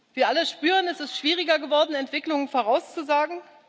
Wir alle spüren Es ist schwieriger geworden, Entwicklungen vorauszusagen.